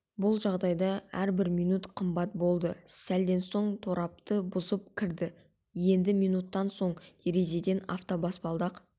бұл жағдайда әрбір минут қымбат болды сәлден соң торабты бұзып кірді енді минуттан соң терезеден автобаспалдақ